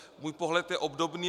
Můj pohled je obdobný.